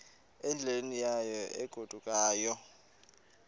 endleleni yayo egodukayo